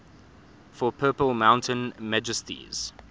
for purple mountain majesties